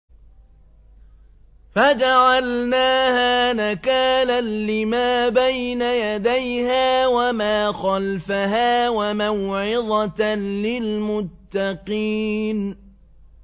فَجَعَلْنَاهَا نَكَالًا لِّمَا بَيْنَ يَدَيْهَا وَمَا خَلْفَهَا وَمَوْعِظَةً لِّلْمُتَّقِينَ